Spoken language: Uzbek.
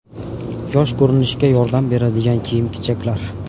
Yosh ko‘rinishga yordam beradigan kiyim-kechaklar.